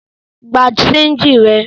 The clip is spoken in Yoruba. Gba ṣéńjì rẹ!